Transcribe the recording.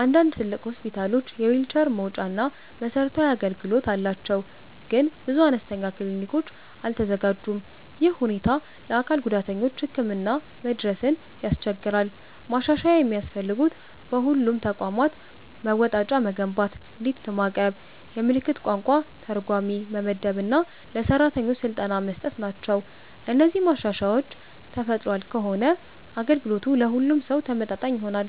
አንዳንድ ትልቅ ሆስፒታሎች የዊልቸር መወጣጫ እና መሰረታዊ አገልግሎት አላቸው፣ ግን ብዙ አነስተኛ ክሊኒኮች አልተዘጋጁም። ይህ ሁኔታ ለአካል ጉዳተኞች ህክምና መድረስን ያስቸግራል። ማሻሻያ የሚያስፈልጉት በሁሉም ተቋማት መወጣጫ መገንባት፣ ሊፍት ማቅረብ፣ የምልክት ቋንቋ ተርጓሚ መመደብ እና ለሰራተኞች ስልጠና መስጠት ናቸው። እነዚህ ማሻሻያዎች ተፈጥሯል ከሆነ አገልግሎቱ ለሁሉም ሰው ተመጣጣኝ ይሆናል።